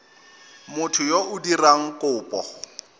motho yo o dirang kopo